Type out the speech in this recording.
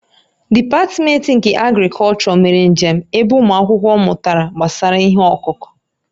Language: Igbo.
Dipatmentị nke Agrịkọlchọ mere njem ebe ụmụ akwụkwọ mụtara gbasara ihe ọkụkụ